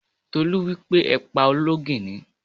Tolú wípé: Ẹ pa olóńgìní!